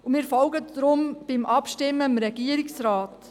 Wir folgen deshalb dem Regierungsrat.